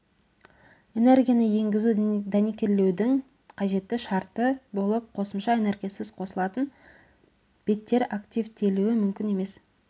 энергияны енгізу дәнекерлеудің қажетті шарты болып қосымша энергиясыз қосылысатын беттер активтелуі мүмкін емес